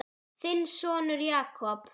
Þinn sonur Jakob.